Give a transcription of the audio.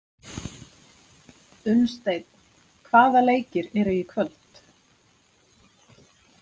Unnsteinn, hvaða leikir eru í kvöld?